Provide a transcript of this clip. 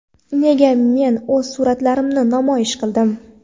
Nega men o‘z suratlarimni namoyish qildim?.